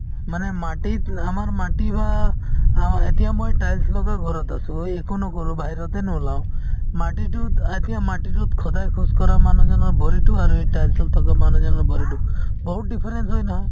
মানে মাটিত আমাৰ মাটি বা এতিয়া মই tiles লগোৱা ঘৰত আছোঁ। একো নকৰোঁ । বাহিৰতে নোলাও মাটি টোত এতিয়া মাটি টোত সদাই খোজকাঢ়া মানুহজনৰ ভৰি টো আৰু এই tiles ত থাকা মানুহৰ ভৰি টো , বহুত difference হয় নহয়।